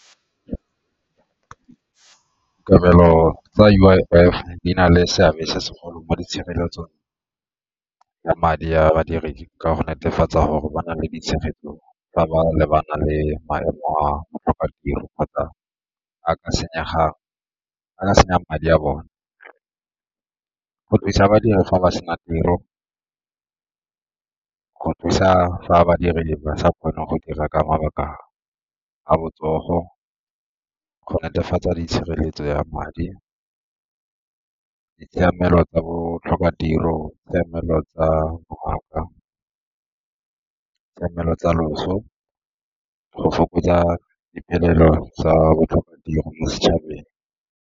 Kabelo tsa U_I_F di na le seabe se segolo mo di tshireletsong ya madi ya badiredi ka go netefatsa gore ba na le ditshegetso fa ba lebana le maemo a go tlhoka tiro kgotsa a ka senyang madi a bone. Go thusa badiri fa ba sena tiro, go thusa fa badiri le ba sa kgone go dira ka mabaka a botsogo, go netefatsa tshireletso ya madi, ditshiamelo tsa botlhokatiro, tshiamelo tsa , tshiamelo tsa loso, go fokotsa diphelelo tsa botlhokatiro mo setšhabeng.